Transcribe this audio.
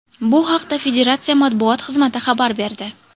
Bu haqda federatsiya matbuot xizmati xabar berdi .